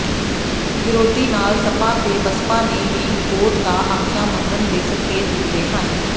ਵਿਰੋਧੀ ਨਾਲ ਸਪਾ ਤੇ ਬਸਪਾ ਨੇ ਵੀ ਕੋਰਟ ਦਾ ਆਖਿਆ ਮੰਨਣ ਦੇ ਸੰਕੇਤ ਦਿੱਤੇ ਹਨ